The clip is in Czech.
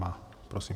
Má. Prosím.